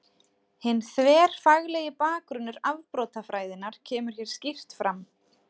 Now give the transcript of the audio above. Hinn þverfaglegi bakgrunnur afbrotafræðinnar kemur hér skýrt fram.